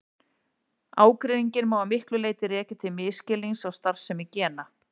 Ágreininginn má að miklu leyti rekja til misskilnings á starfsemi gena.